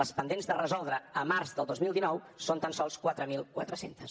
les pendents de resoldre a març del dos mil dinou són tan sols quatre mil quatre cents